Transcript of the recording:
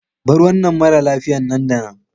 Bar wannan mara lafiya nan da nan!